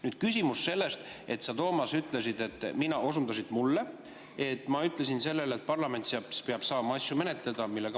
Nüüd küsimus, et sa, Toomas, ütlesid, et mina – sa osundasid mind – ütlesin, et parlament peab saama asju menetleda.